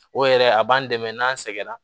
O yɛrɛ a b'an dɛmɛ n'an sɛgɛnna